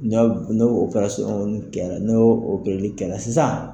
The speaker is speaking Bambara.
no kɛra no opereli kɛra sisan.